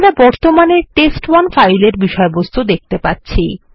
আমরা বর্তমানে test one file এর বিষয়বস্তু দেখতে পাচ্ছি